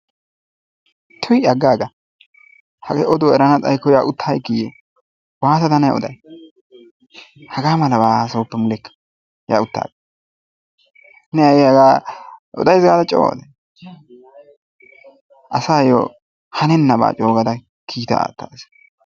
tuy aggaaga. Hagee oduwaa eranna xayikko yaa utta aggikii! waatada ne ooday? hagaa malabaa hasayoppa yaa utta gaa. Ne ha'i hagaa odays gaada coo asayoo haanenaabaa coogada kiittaa aattaasa.